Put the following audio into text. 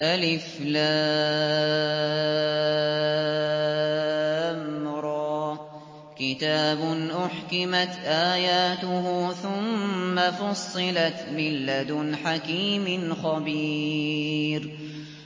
الر ۚ كِتَابٌ أُحْكِمَتْ آيَاتُهُ ثُمَّ فُصِّلَتْ مِن لَّدُنْ حَكِيمٍ خَبِيرٍ